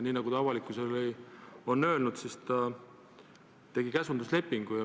Nii nagu ta avalikkusele on öelnud, tegi ta käsunduslepingu.